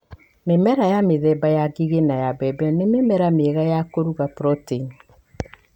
Mĩmera ya mĩthemba ya ngigĩ na ya mbembe nĩ mĩmera mĩega ya kũruga proteini.